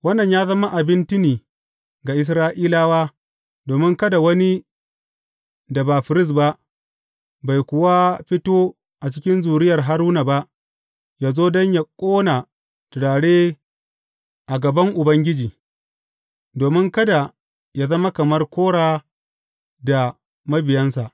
Wannan ya zama abin tuni ga Isra’ilawa domin kada wani da ba firist ba, bai kuwa fito a cikin zuriyar Haruna ba, yă zo don yă ƙona turare a gaban Ubangiji, domin kada yă zama kamar Kora da mabiyansa.